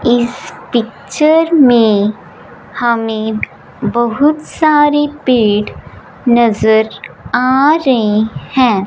इस पिक्चर में हमें बहुत सारे पेड़ नजर आ रहे हैं।